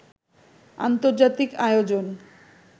আন্তর্জাতিক আয়োজন